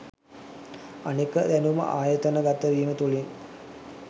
අනෙක දැනුම ආයතන ගත වීම තුලින්